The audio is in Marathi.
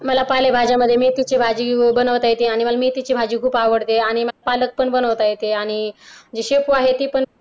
मला पालेभाज्यांमध्ये मेथीची भाजी बनवता येते आणि मला मेथीची भाजी खुप आवडते आणि मला पालक पण बनवता येते आणि शेपू आहे ती पण